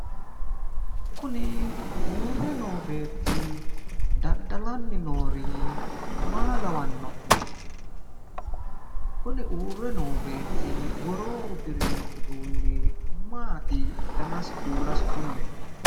Kuni uurre noo beetti daddalanni noori maa lawanno'ne? kuni uurre noo beetti woroonni uddirino uduunni maati danasi kuulasi kulle"e?